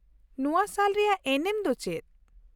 ᱱᱚᱶᱟ ᱥᱟᱞ ᱨᱮᱭᱟᱜ ᱮᱱᱮᱢ ᱫᱚ ᱪᱮᱫ ?